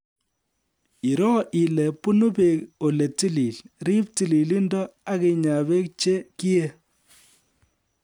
Iroo ile bunu beek ole tilil ,riib tililindo akinyaa beek che kiei